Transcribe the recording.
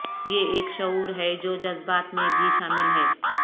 یہ ایک شعور ہے جو جذبات میں بھی شامل ہے